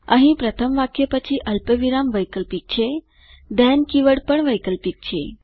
અહીં પ્રથમ વાક્ય પછી અલ્પવિરામ વૈકલ્પિક છે થેન કીવર્ડ પણ વૈકલ્પિક છે